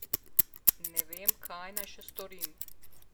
Ne vem, kaj naj še storim.